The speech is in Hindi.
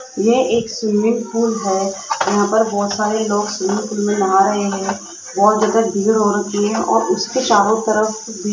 यह एक स्विमिंग पूल है यहां पर बहुत सारे लोग स्विमिंग पूल में नहा रहे हैं बहुत ज्यादा भीड़ हो रखी है और उसके चारों तरफ भी --